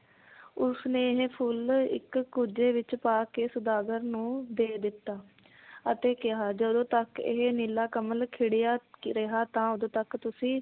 ਉਸਨੇ ਇਹ ਫੁਲ ਇੱਕ ਕੁੱਜੇ ਵਿਚ ਪਾ ਕੇ ਸੌਦਾਗਰ ਨੂੰ ਦੇ ਦਿੱਤਾ ਅਤੇ ਕਿਹਾ ਜਦੋਂ ਤੱਕ ਇਹ ਨੀਲਾ ਕਮਲ ਖਿੜਿਆ ਰਿਹਾ ਤਾਂ ਉਦੋਂ ਤਕ ਤੁਸੀਂ